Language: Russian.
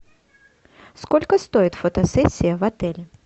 сколько стоит фотосессия в отеле